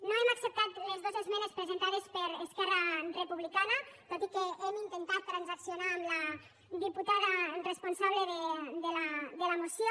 no hem acceptat les dos esmenes presentades per esquerra republicana tot i que hem intentat transaccionar amb la diputada responsable de la moció